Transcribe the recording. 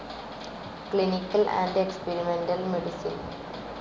clinical and experimental medicine